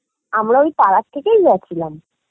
আমরা ওই পাড়ার থেকেই গেছিলাম